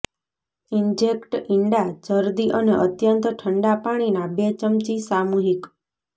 inject ઇંડા જરદી અને અત્યંત ઠંડા પાણીના બે ચમચી સામૂહિક